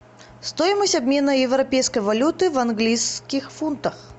стоимость обмена европейской валюты в английских фунтах